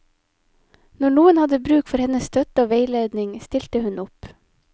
Når noen hadde bruk for hennes støtte og veiledning, stilte hun opp.